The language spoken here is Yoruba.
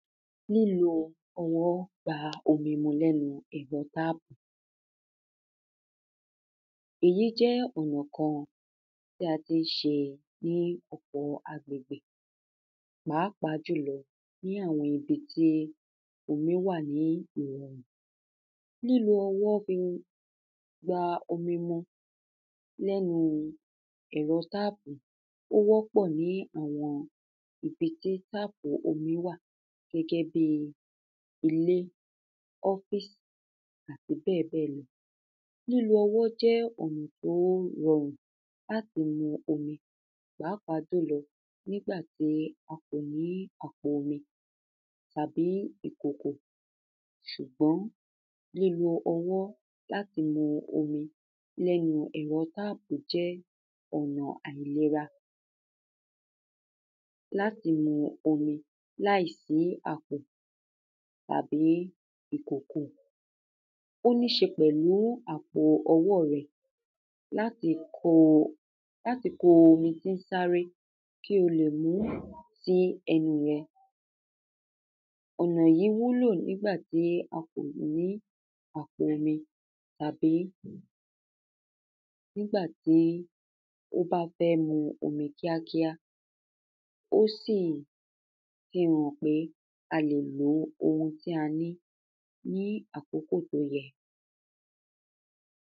Lílo ọwọ́ gba omi mu lẹ́nu ẹ̀rọ táàpù [cs[. Èyí jẹ́ ọ̀nà kan bí a tí ń ṣe ní ọ̀pọ̀ọ agbègbè pàápàá jùlọ ní àwọn ibi tí omí wà ní ìrọ̀rùn. Lílo ọwọ́ fi gba omi mu lẹ́nu ẹ̀rọ tápù, ó wọ́pọ̀ ní àwọn ibi tí táàpù omí wà gẹ́gẹ́ bíi ilé, ọ́físì, àti bẹ́ẹ̀ bẹ́ẹ̀ lọ. Lílo ọwọ́ jẹ́ ọ̀nà tó rọrùn láti mú omi pàápàá jùlọ nígbà tí a kò ní àpo omi, tàbí ìkòkò ṣùgbọ́n lílo ọwọ́ láti mu omi lẹ́nu ẹ̀rọ táàpù jẹ́ ọ̀nà àìnira láti mu omi láìsí àpò tàbí ìkòkò. Ó níí ṣe pẹ̀lú àpò ọwọ́ rẹ láti kó láti kó omi sísáré kí o lè mú sí ẹnù rẹ. Ọ̀nà yìí wúlò nígbà tí a kò ní àpo omi tàbí nígbà tí ó bá fẹ́ mu omi kíákíá. Ó sì fi hàn pé a lè lo ohun tí a ní ní àkókò tó yẹ.